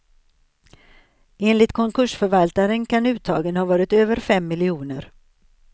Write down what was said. Enligt konkursförvaltaren kan uttagen ha varit över fem miljoner.